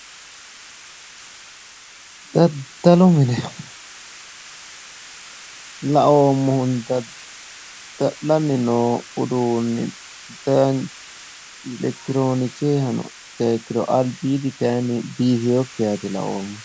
Daddallu mine laoommohunni daddalani no mini albaani noohu biifinokkiha dilawano